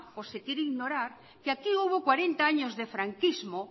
o se quiere ignorar que aquí hubo cuarenta años de franquismo